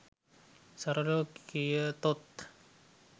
සරලව කියතොත්